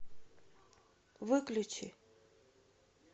выключи